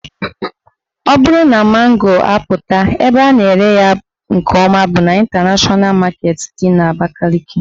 Ọ bụrụ na mango apụta, ebe a na-ere ya nke ọma bụ n' Ịntanashọna Maketi dị n'Abakaliki